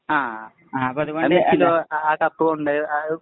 അപ്പൊ അതുകൊണ്ട് ആ കപ്പു കൊണ്ട് പോയിട്ട്